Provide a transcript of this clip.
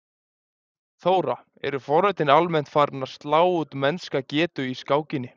Þóra: Eru forritin almennt farin að slá út mennska getu í skákinni?